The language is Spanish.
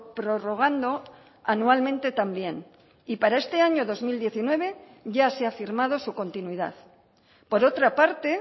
prorrogando anualmente también y para este año dos mil diecinueve ya se ha firmado su continuidad por otra parte